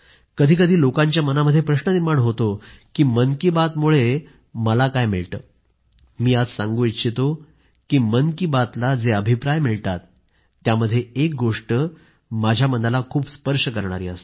कधीकधी लोकांच्या मनामध्ये प्रश्न निर्माण होतो की मन की बातमुळे मला काय मिळते मी आज सांगू इच्छितो की मन की बातला जे अभिप्राय मिळतात त्यामध्ये एक गोष्ट माझ्या मनाला खूप स्पर्श करणारी असते